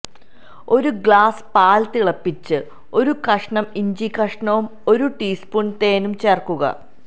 ഒരു ഗ്ലാസ്സ് പാല് തിളപ്പിച്ച് ഒരു കഷ്ണം ഇഞ്ചി കഷ്ണവും ഒരു ടീ സ്പൂണ് തേനും ചേര്ക്കുക